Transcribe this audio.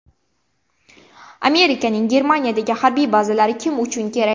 Amerikaning Germaniyadagi harbiy bazalari kim uchun kerak?